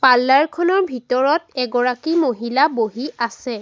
আল্লাৰ খনৰ ভিতৰত এগৰাকী মহিলা বহি আছে।